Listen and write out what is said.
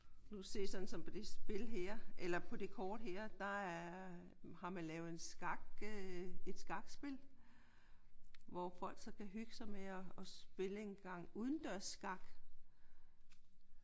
Nu kan du se sådan som på det spil her eller på det kort her der har man lavet en skakspil hvor folk så kan hygge sig med at spille en gang udendørsskak